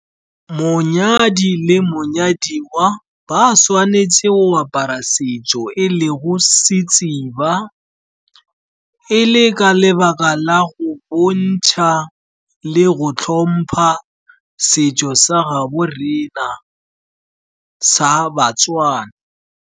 Monyadi le monyadiwa ba tshwanetse go apara setso e lego . E le ka lebaka la go bontšha le go tlhompha setso sa gaabo rena sa Batswana.